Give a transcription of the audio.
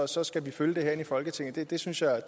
så skal vi følge det herinde i folketinget det synes jeg